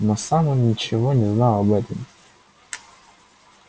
но сам он ничего не знал об этом